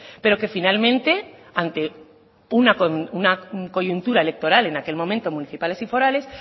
pero que finalmente ante una coyuntura electoral en aquel momento municipales y forales